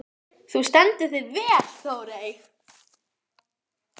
Þau hefur árum saman langað til að hitta þig.